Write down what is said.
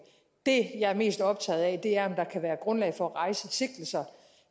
det jeg er mest optaget af er om der kan være grundlag for at rejse sigtelser